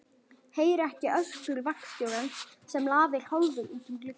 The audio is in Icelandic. Heyri ekki öskur vagnstjórans sem lafir hálfur út um gluggann.